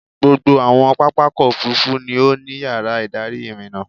Gbogbo àwọn pápákọ̀-òfurufú ni ó ní yàrá-ìdarí ìrìnnà.